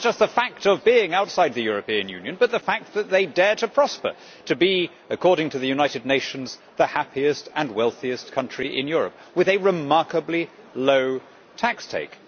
Not just the fact of being outside the European Union, but the fact that they dare to prosper to be, according to the United Nations, the happiest and wealthiest country in Europe, with a remarkably low tax take.